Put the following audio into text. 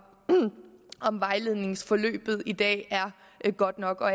om vejledningsforløbet i dag er godt nok og